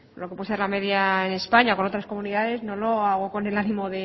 lo que puede ser la media en españa con otras comunidades no lo hago con el ánimo